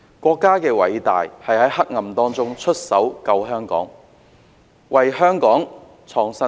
國家的偉大之處是在黑暗中出手拯救香港，為香港創新天。